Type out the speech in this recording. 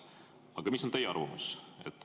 Aga mis on teie arvamus?